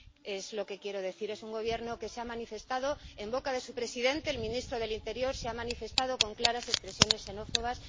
Es lo que quiero decir. Es un Gobierno que se ha manifestado en boca de su presidente, y el ministro del Interior se ha manifestado con claras expresiones xenófobas.